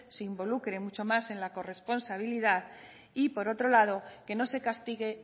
se involucren mucho más en la corresponsabilidad y por otro lado que no se castigue